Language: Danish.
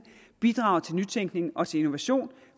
bidrager til nytænkning og til innovation